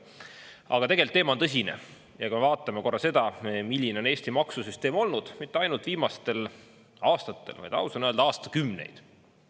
Aga tegelt, teema on tõsine ja ka vaatame korra seda, milline on Eesti maksusüsteem olnud mitte ainult viimastel aastatel, vaid aus on öelda, aastakümneid.